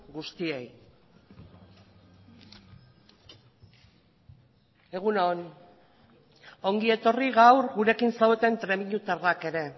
guztiei bale egun on ongi etorri gaur gurekin zaudeten trebiñutarrak ere